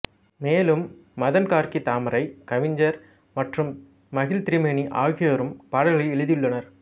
மேலும் மதன் கார்க்கி தாமரை கவிஞர் மற்றும் மகிழ் திருமேனி ஆகியோரும் பாடல்களை எழுதியுள்ளனர்